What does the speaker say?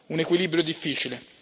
un equilibrio difficile.